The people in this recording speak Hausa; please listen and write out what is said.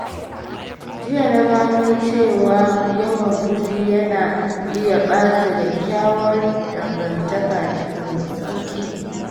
Jiya na gano cewa yawan fushi yana iya ɓata kyakkyawar dangantaka cikin sauƙi.